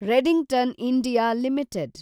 Redington India limited